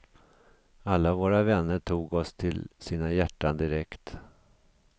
Alla våra vänner tog oss till sina hjärtan direkt.